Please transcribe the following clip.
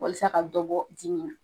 Walisa ka dɔ bɔ dimi na.